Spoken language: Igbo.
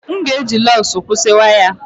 M ga-eji lugs kwụsị waya.